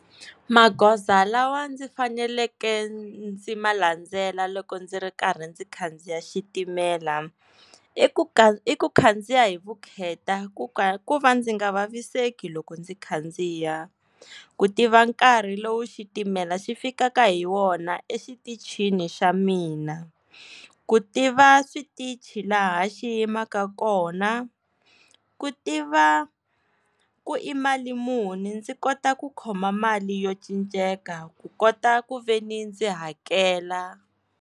Magoza lawa ndzi faneleke ndzi ma landzela loko ndzi ri karhi ndzi khandziya xitimela i ku ka i ku khandziya hi vukheta ku ka ku va ndzi nga vaviseki loko ndzi khandziya ku tiva nkarhi lowu xitimela xi fikaka hi wona exitichini xa mina ku tiva switichi laha xiyimaka kona ku tiva ku i mali muni ndzi kota ku khoma mali yo cinceke ku kota ku ve ni ndzi hakela.